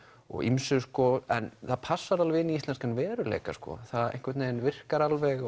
og ýmsu en það passar alveg inn í íslenskan veruleika það einhvern veginn virkar alveg